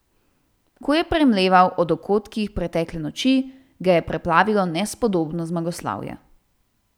Ko je premleval o dogodkih pretekle noči, ga je preplavilo nespodobno zmagoslavje.